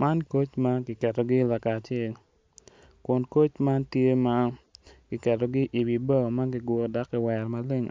Man koc ma kiketogi lakacel kun koc man tye ma kiketogi iwi bao ma kiguro dok kiwerogi maleng